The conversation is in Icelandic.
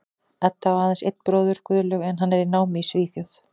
Edda á aðeins einn bróður, Guðlaug, en hann er í námi í Svíþjóð.